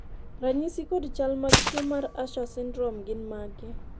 ranyisi kod chal mag tuo mar Usher syndrome gin mage